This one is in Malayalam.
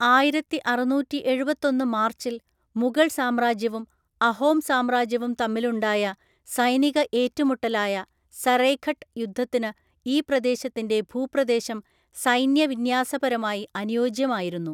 ആയിരത്തിഅറുന്നൂറ്റി എഴുപത്തൊന്ന് മാർച്ചിൽ മുഗൾ സാമ്രാജ്യവും അഹോം സാമ്രാജ്യവും തമ്മിലുണ്ടായ സൈനിക ഏറ്റുമുട്ടലായ സറൈഘട്ട് യുദ്ധത്തിന് ഈ പ്രദേശത്തിൻ്റെ ഭൂപ്രദേശം സൈന്യവിന്യാസപരമായി അനുയോജ്യമായിരുന്നു.